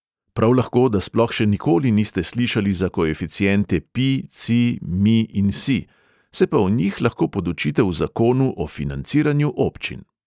Prav lahko, da sploh še nikoli niste slišali za koeficiente pi, ci, mi in si, se pa o njih lahko podučite v zakonu o financiranju občin!